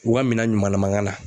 U ka minan ɲumanlama ka na